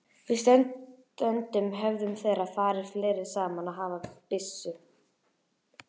Og stundum höfðu þeir farið fleiri saman og haft byssu.